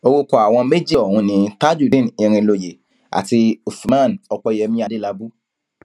orúkọ àwọn méjì ọhún ni tajudeen irinlóye àti uffman opẹyẹmí adélábù